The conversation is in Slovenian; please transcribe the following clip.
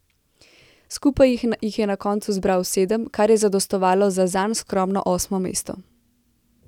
Skupaj jih je na koncu zbral sedem, kar je zadostovalo za zanj skromno osmo mesto.